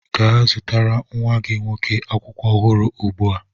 Gaa zụtara nwa gị nwoke akwụkwọ ọhụrụ ugbu a!